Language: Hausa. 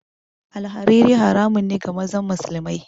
Alhariri haramun ne ga mazan musulamai